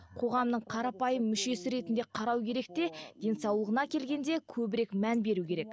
қоғамның қарапайым мүшесі ретінде қарау керек те денсаулығына келгенде көбірек мән беру керек